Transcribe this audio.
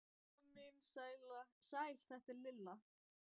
Amma mín, sæl þetta er Lilla